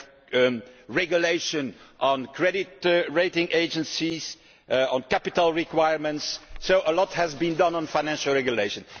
We have a regulation on credit rating agencies and one on capital requirements. So a lot has been done on financial regulation.